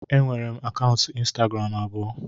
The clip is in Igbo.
Enwere m akaụntụ ịnstagram abụọ